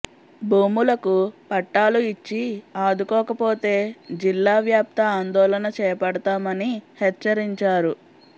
భూములకు పట్టాలు ఇచ్చి ఆదుకోకపోతే జిల్లా వ్యాప్త ఆందోళన చేపడతామని హెచ్చరించారు